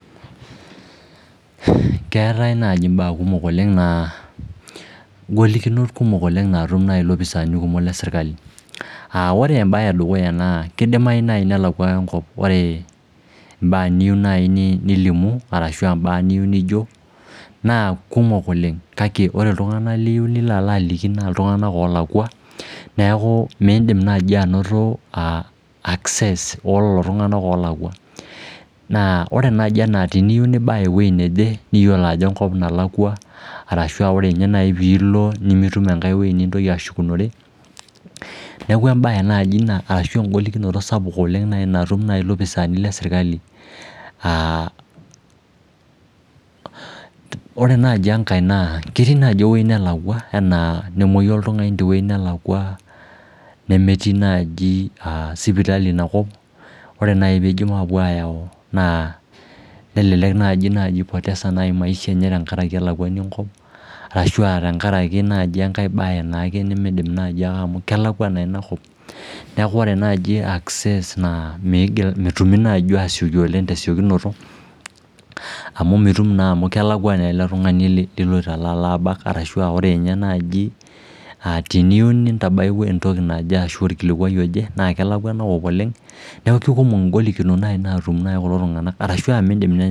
Keetai nai imbaa kumok oleng naa ingolikinot naatum nai ilopisaani leserkali aah ore embae edukuya naa kidimayu naai nelakwa engop ore imbaa niyieu nai nilimu arashu aa mbaa niyieu nijo naa kumok oleng kake iltunganak liyieu nilo alo aliki naa iltunganak oolakwa neeku miidim naji anoto access olelo tung'anak oolakwa Naa ore naji ena teniyieu nibaya ewuei neje niyiolo ajo enkop nalakwa arashu ore ninye nai piilo nimitum enkai wuei nintoki ashukunore neeku embae naji ina arashu en'golikinoto sapuk oleng natum nai ilopisaani leserkali aah Ore naji enkae naa ketii naji ewuei nelakwa enaa nemuoyu oltungani tewuei nelakwa nemetii naaji sipitali inakop ore nai piidip apuo ayau naa nelelek naji ipoteza engishui enye tengaraki elakwani enkop arashu aa tengaraki engae baye naai nake nimidim naji amu kelakwa naa inakop neekuore naji access naa miigil metumi naaji atumomi oleng tesiokinoto amu mitum naa amu kelakwa naa ele tungani liloito alo abaka arashu aa ore dii ninye naji tenintabaya entoki naaji ashu orkikukua oje naa kelakwa enakop oleng neeku kekumok ingolikinot naatum kulo tung'anak arashu aa miidim